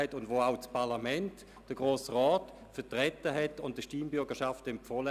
Dieselbe Meinung hat auch der Grosse Rat vertreten und der Stimmbürgerschaft empfohlen.